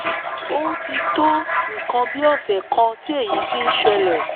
ó ó ti tó nǹkan bí ọ̀sẹ̀ kan tí èyí ti ń ṣẹlẹ̀